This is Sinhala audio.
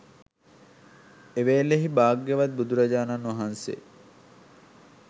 එවේලෙහි භාග්‍යවත් බුදුරජාණන් වහන්සේ